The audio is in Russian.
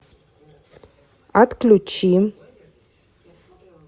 отключи